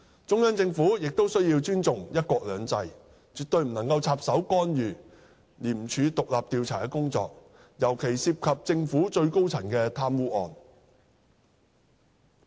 中央政府亦須尊重"一國兩制"，絕不能插手干預廉署獨立的調查工作，尤其涉及政府最高層的貪污案。